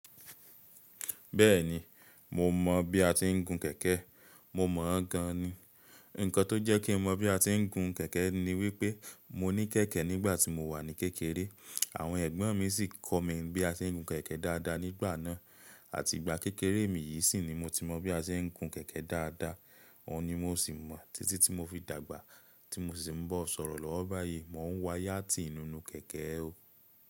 Bẹ́ẹ̀ni, mo mọ̀ bí a ti ń gun kẹ̀kẹ́, mo mọ̀ ọ́n gan ni. Ǹkan tó jẹ́ kí mo mọ̀ bí a ti ń gun kẹ̀kẹ́ ni wípé mo ní kẹ̀kẹ́ nígbà tí mo wà ní kékeré, àwọn ẹ̀gbọ́n mi sì kọ mí bí a ti ń gun kẹ̀kẹ́ dáadáa nígbà náà. Àti ìgbà kékeré mi yìí sì ni mo ti mọ̀ bí a ti ń gun kẹ̀kẹ́ dáadáa, òun ni mo sì mọ̀. Títí tí mo fi dàgbà tí mo sì ń bọ̀ sọ̀rọ̀ lọ́wọ́ báyìí, mò ń wa yàtì nínú kẹ̀kẹ́ o.